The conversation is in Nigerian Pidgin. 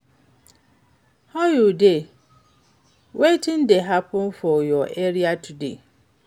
How you dey, wetin dey happen for your area today?